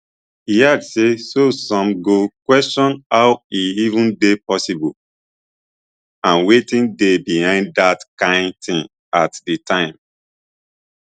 e add say so one go question how e even dey possible and wetin dey behind dat kain tin at di time